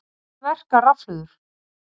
Hvernig verka rafhlöður?